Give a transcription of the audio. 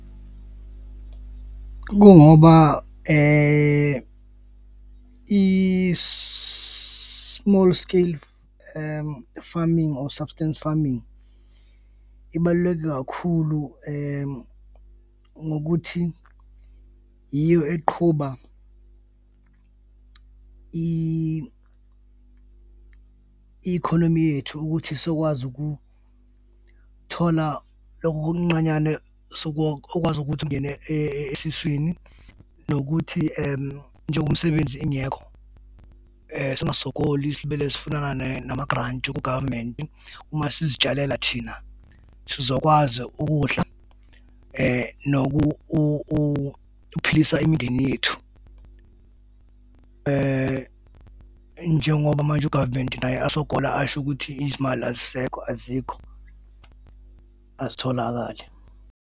Kungoba i-small scale farming or substance farming ibaluleke kakhulu ngokuthi yiyo eqhuba i-economy yethu ukuthi sizokwazi ukuthola loko okuncanyane sokwazi ukuthi kungene esiswini nokuthi njengoba imsebenzi ingekho, singasogoli, silibele sifunana nama-grant ku-government. Uma sizitshalela thina sizokwazi ukudla ukuphilisa imindeni yethu. Njengoba manje, u-government naye asogola asho ukuthi izimali azisekho, azikho, azitholakali.